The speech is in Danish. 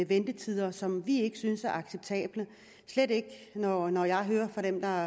ventetider som vi ikke synes er acceptable slet ikke når jeg hører fra dem der